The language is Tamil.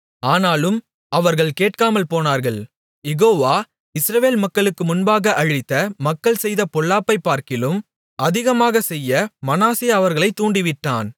ஆனாலும் அவர்கள் கேட்காமல்போனார்கள் யெகோவ இஸ்ரவேல் மக்களுக்கு முன்பாக அழித்த மக்கள் செய்த பொல்லாப்பைப்பார்க்கிலும் அதிகமாகச் செய்ய மனாசே அவர்களைத் தூண்டிவிட்டான்